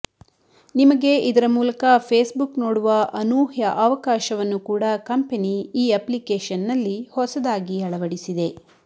ನಿಮಗೆ ಇದರ ಮೂಲಕ ಫೇಸ್ಬುಕ್ ನೋಡುವ ಅನೂಹ್ಯ ಅವಕಾಶವನ್ನು ಕೂಡ ಕಂಪೆನಿ ಈ ಅಪ್ಲಿಕೇಶನ್ನಲ್ಲಿ ಹೊಸದಾಗಿ ಅಳವಡಿಸಿದೆ